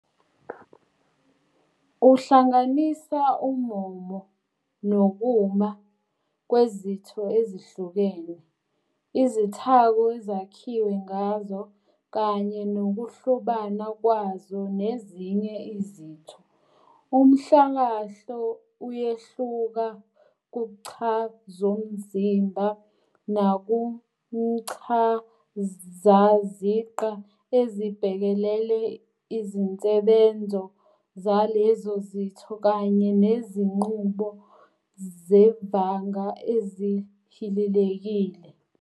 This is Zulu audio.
Uhlanganisa ummomo nokuma kwezitho ezihlukene, izithako ezakhiwe ngazo, kanye nokuhlobana kwazo nezinye izitho. Umhlakahlo uyehluka kuchazomzimba nakumchazaziqa, ezibhekelele izinsebenzo zalezo zitho kanye nezinqubo zevanga ezihilelekile.